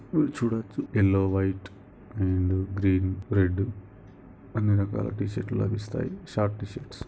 ఇవి చూడొచ్చు yellow white green green red అన్ని రకాల టీ షర్టులు లభిస్తాయి షార్ట్ షర్ట్స్ లు